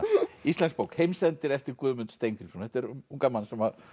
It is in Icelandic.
íslensk bók heimsendir eftir Guðmund Steingrímsson þetta er um ungan mann